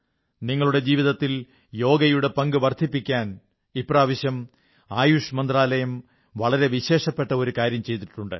നിങ്ങളുടെ ജീവിതത്തിൽ യോഗയുടെ പങ്ക് വർധിപ്പിക്കാൻ ഇപ്രാവശ്യം ആയുഷ് മന്ത്രാലയം വളരെ വിശേഷപ്പട്ട ഒരു കാര്യം ചെയ്തിട്ടുണ്ട്